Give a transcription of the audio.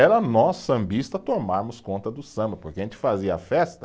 Era nós sambistas tomarmos conta do samba, porque a gente fazia festa,